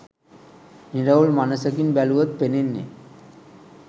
නිරවුල් මනසකින් බැලුවොත් පෙනෙන්නේ